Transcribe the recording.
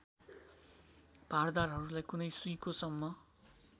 भारदाहरूलाई कुनै सुइँकोसम्म